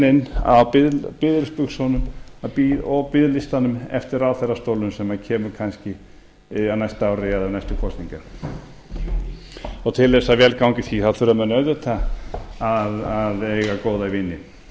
inn á biðilsbuxunum og biðlistanum eftir ráðherrastólnum sem kemur kannski á næsta ári eða við næstu kosningar og til þess að vel gangi í því þá þurfa menn auðvitað að eiga góða vini